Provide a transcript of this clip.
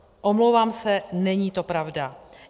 Omlouvám se, není to pravda.